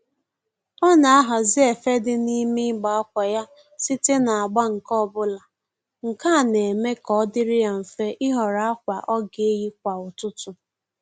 Ọ na-ahazi efe dị n'ime igbe akwa ya site n'agba nke ọbụla, nke a na-eme ka ọ dịrị ya mfe ịhọrọ akwa ọ ga-eyi kwa ụtụtụ